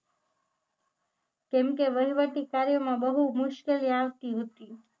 કેમ કે વહીવટી કાર્યોમાં બહુ મુશ્કેલી આવતી હતી